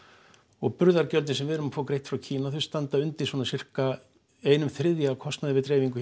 og burðargjöldin sem við erum að fá greidd frá Kína þau standa undir svona einn þriðja af kostnaði við dreifingu